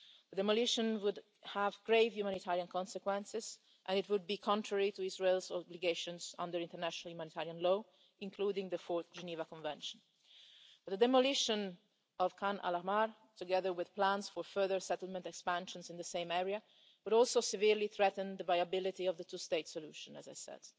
That demolition would have grave humanitarian consequences and it would be contrary to Israel's obligations under international humanitarian law, including the Fourth Geneva Convention. The demolition of Khan al Ahmar, together with plans for further settlement expansions in the same area, would also severely threaten the viability of the two state solution, as I said.